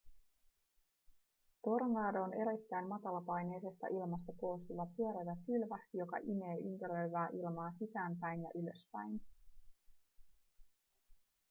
tornado on erittäin matalapaineisesta ilmasta koostuva pyörivä pylväs joka imee ympäröivää ilmaa sisäänpäin ja ylöspäin